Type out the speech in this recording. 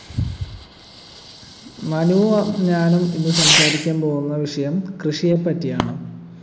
മനുവും ഞാനും ഇന്ന് സംസാരിക്കാൻ പോകുന്ന വിഷയം കൃഷിയെപ്പറ്റിയാണ്